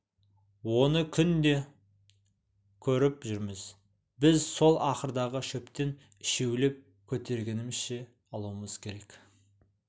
оны күнде көріп жүрміз біз сол ақырдағы шөптен үшеулеп көтергенімізше алуымыз керек